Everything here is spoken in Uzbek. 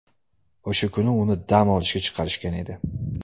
O‘sha kuni uni dam olishga chiqarishgan edi.